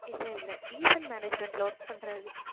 இல்லை இல்லை event management ல work பண்றாரு